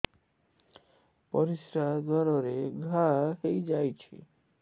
ପରିଶ୍ରା ଦ୍ୱାର ରେ ଘା ହେଇଯାଇଛି